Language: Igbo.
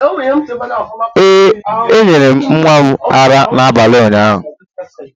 Ee m nyere nwa m ara n'abalị ụnyaahụ